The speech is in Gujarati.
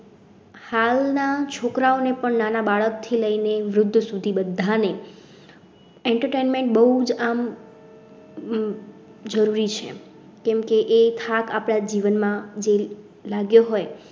હાલ ના છોકરાઓ ને પણ નાના બાળક થી લઈ ને વૃદ્ધો સુધી બધા ને. entertainment બહુ જ આમ. જરૂરી છે કેમ કે એ ખાપ જીવનમાં લાગ્યો હોય